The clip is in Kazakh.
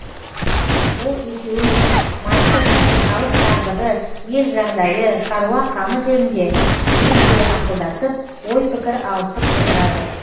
ол екеуімен майқы би халық тағдыры ел жағдайы шаруа қамы жөнінде жиі жиі ақылдасып ой пікір алысып отырады